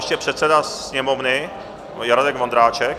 Ještě předseda Sněmovny Radek Vondráček.